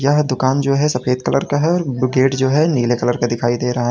यह दुकान जो है सफेद कलर का है और बु गेट जो है नीले कलर का दिखाई दे रहा --